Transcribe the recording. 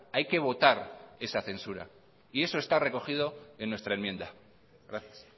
hay que votar esa censura y eso está recogido en nuestra enmienda gracias